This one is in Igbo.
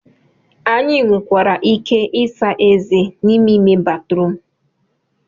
Anyị nwekwara ike ịsa ezé n'ime ime batrum